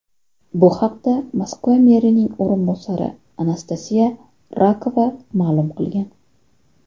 Bu haqda Moskva merining o‘rinbosari Anastasiya Rakova ma’lum qilgan .